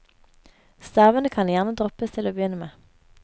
Stavene kan gjerne droppes til å begynne med.